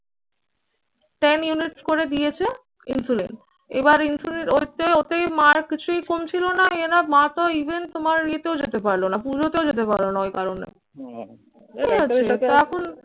ten units করে দিয়েছে insulin এবার insulin ওতেই ওতেই মার কিছুই কমছিল না ইয়ে না মা তো even তোমার ইয়েতেও যেতে পারল না পুজোতেও যেতে পারল না ওই কারণে